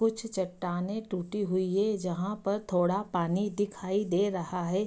कुछ चट्टाने टूटी हुई है जहाँ पर थोड़ा पानी दिखाई दे रहा है।